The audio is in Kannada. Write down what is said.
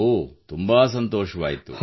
ಓಹ್ ತುಂಬಾ ಸಂತೋಷವಾಯಿತು